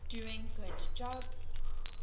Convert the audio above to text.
doing good job